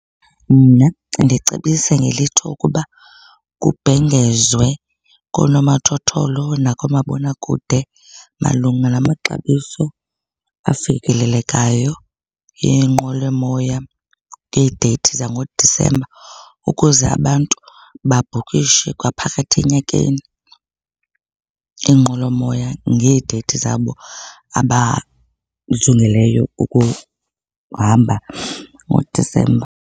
Mna ndicebise ngelithi ukuba kubhengezwe koonomathotholo nakoomabonakude malunga namaxabiso afikelelekayo eenqwelomoya ngeedeyithi zangoDisemba ukuze abantu babhukishe kwaphakathi enyakeni iinqwelomoya ngeedeyithi zabo abajongileyo ukuhamba ngoDisemba.